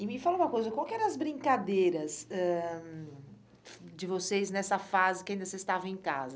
E me fala uma coisa, qual que eram as brincadeiras ah de vocês nessa fase que ainda vocês estavam em casa?